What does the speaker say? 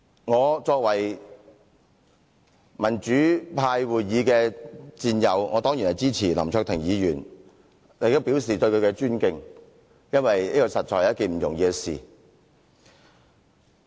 我作為民主派議員的戰友，當然支持林卓廷議員，亦向他表示尊敬，因為這實在不是一件易事。